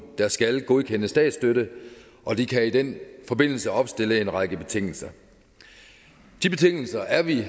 der skal godkende statsstøtte og de kan i den forbindelse opstille en række betingelser de betingelser er vi